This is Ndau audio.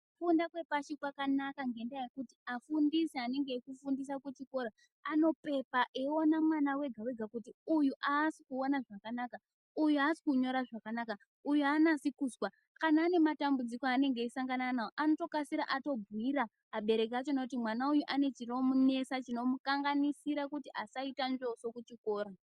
Kufunda kwepashi kwakanaka ngendaa yekuti afundisi anenge echifundisa kuchikora ,anopepa eiona mwana wega-wega kuti uyu aasi kuona zvakanaka ,uyu aasi kunyora zvakanaka, uyu aanasi kuzwa. Kana ane matambudziko aanenge eisangana nawo ,anotokasira atobhuira abereki achona kuti mwana uyu ane chinomunesa chinomukanganisira kuti asaita njoso kuchikora.